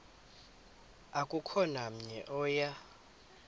akukho namnye oya